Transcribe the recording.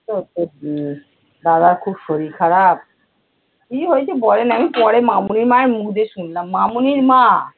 উহ দাদার খুব শরীর খারাপ। কি হয়েছে বলে না আমি পরে মামনির মায়ের মুখ দিয়ে শুনলাম। মামনির মা